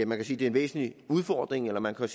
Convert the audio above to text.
man sige en væsentlig udfordring eller man kan